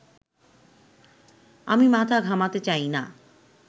আমি মাথা ঘামাতে চাই না